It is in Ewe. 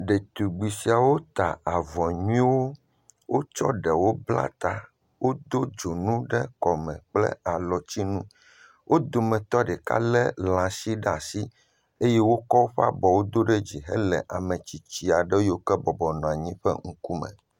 Ɖetugbi siawo ta avɔ nyuiwo. Wotsɔ ɖewo bla ta. Wodo dzonuwo ɖe kɔme kple alɔtsinu. Wo dometɔ ɖeka lé lãshi ɖaa si eye wokɔ woƒe abɔwo do ɖe dzi hele ame tsitsi aɖe yiwo ke bɔbɔ nɔ anyi ƒe ŋkume.